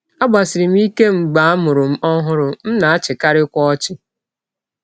Agbasiri m ike mgbe a mụrụ m ọhụrụ, m na - achịkarịkwa ọchị.